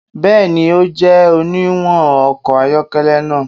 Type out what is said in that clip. Bẹẹni, o jẹ oniwun ọkọ ayọkẹlẹ naa